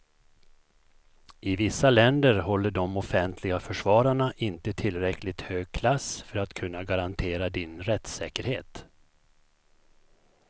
I vissa länder håller de offentliga försvararna inte tillräckligt hög klass för att kunna garantera din rättssäkerhet.